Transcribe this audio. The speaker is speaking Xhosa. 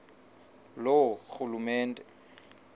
loorhulumente